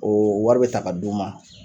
O wari bɛ ta ka d'u ma.